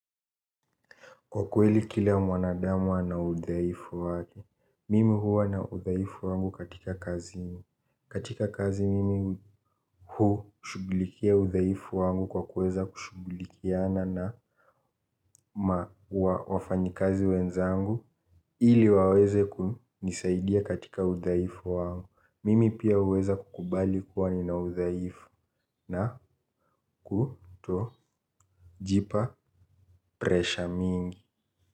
Kwa kweli kila mwanadamu ana udhaifu wake, mimi huwa na udhaifu wangu katika kazi. Katika kazi mimi huu shughulikia udhaifu wangu kwa kuweza kushughulikiana na wafanyikazi wenzangu ili waweze kunisaidia katika udhaifu wangu, mimi pia huweza kukubali kuwa nina udhaifu na kutojipa presha mingi.